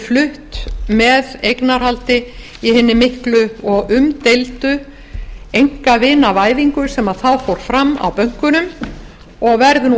flutt með eignarhaldi í hinni miklu og umdeildu einakvinaavæðingu sem þá fór fram á bönkunum og verður nú